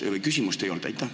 Aitäh!